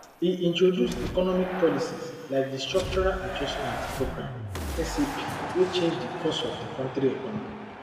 e introduce economic policies like di structural adjustment programme sap wey change di course of di kontri economy